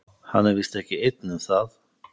Hann er víst ekki einn um það.